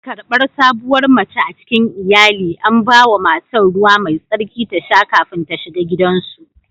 Karbar sabuwar mace a cikin iyali, an ba wa matar ruwa mai tsarki ta sha kafin ta shiga gidansu